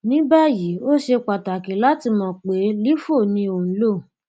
ni báyìí ó ṣe pàtàkì láti mọ pé lifo ni ò ń lò